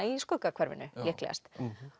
í Skuggahverfinu líklegast